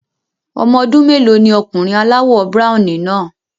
Ọmọ ọdún mélòó ni ọkùnrin aláwọ̀ browny náà?